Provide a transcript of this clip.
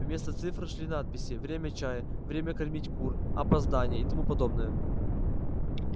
вместо цифр шли надписи время чая время кормить кур опоздание и тому подобное